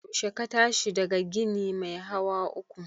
Yaushe ka tashi daga ginin mai hawa uku?